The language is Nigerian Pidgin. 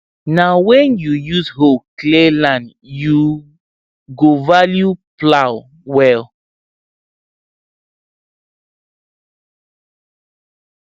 na when you use hoe clear land you go value plow well